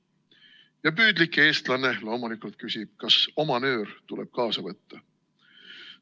Ja püüdlik eestlane loomulikult küsib, kas oma nöör tuleb kaasa võtta.